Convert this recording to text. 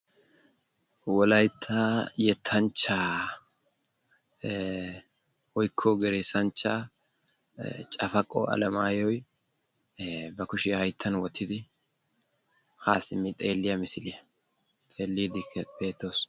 Wolaytta yettanchcha woykko geresanchcha Cafakko Alamayyoy ba kushiyaa hayttan wottidi ha simmi xeelliya misiliya xeellide beettoos.